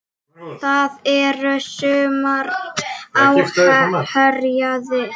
Það er sumar á Héraði.